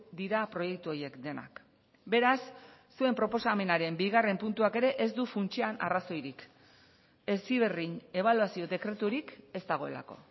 dira proiektu horiek denak beraz zuen proposamenaren bigarren puntuak ere ez du funtsean arrazoirik heziberrin ebaluazio dekreturik ez dagoelako